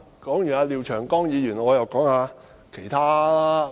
談完廖長江議員，我又要談談其他議員。